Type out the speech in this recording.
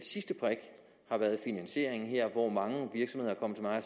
sidste brik har været finansieringen her hvor mange virksomheder